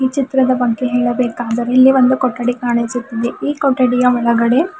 ಈ ಚಿತ್ರದ ಬಗ್ಗೆ ಹೇಳಬೇಕಾದರೆ ಇಲ್ಲಿ ಒಂದು ಕೊಠಡಿ ಕಾಣಿಸುತ್ತಿದೆ ಈ ಕೊಠಡಿಯ ಒಳಗಡೆ.